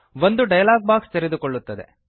ಒಂದು dialog box ತೆರೆದುಕೊಳ್ಳುತ್ತದೆ